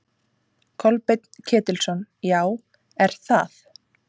Kolbeinn Ketilsson: Já, er það?